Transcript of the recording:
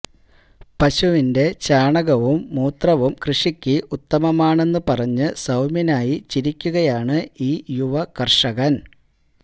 പശുവിന്റെ ചാണകവും മൂത്രവും കൃഷിക്ക് ഉത്തമമാണെന്നു പറഞ്ഞ് സൌമ്യനായി ചിരിക്കുകയാണ് ഈ യുവകർഷകൻ